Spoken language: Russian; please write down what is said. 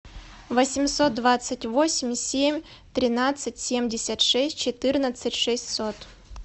восемьсот двадцать восемь семь тринадцать семьдесят шесть четырнадцать шестьсот